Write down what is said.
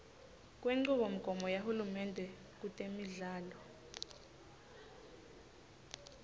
kwenchubomgomo yahulumende kutemidlalo